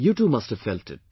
You too must have felt it